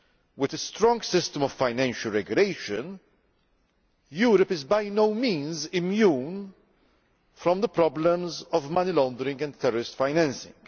With a strong system of financial regulation, Europe is by no means immune to the problems of money laundering and terrorist financing.